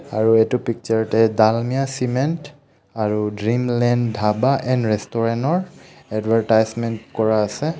আৰু এইটো পিকচাৰতে ডালমিয়া চিমেন্ট আৰু dream land dhaba and restaurant ৰ এডভাৰটাইচমেণ্ট কৰা আছে।